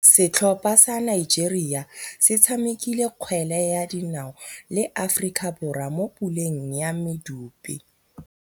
Setlhopha sa Nigeria se tshamekile kgwele ya dinaô le Aforika Borwa mo puleng ya medupe.